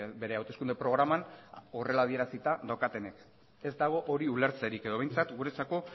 bere hauteskunde programan horrela adierazita daukatenek ez dago hori ulertzerik edo behintzat guretzako